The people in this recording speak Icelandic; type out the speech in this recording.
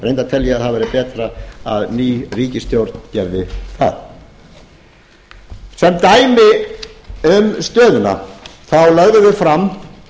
reyndar tel ég að það væri betra að ný ríkisstjórn gerði það sem dæmi um stöðuna lögðum við fram